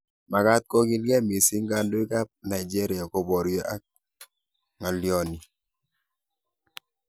Makaaat kokiilgei missing kandoik ab Nigeria koboryo ak ng'alyoni